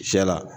Sɛ la